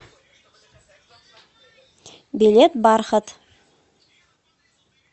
билет бархат